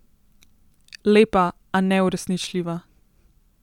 Lepa, a neuresničljiva.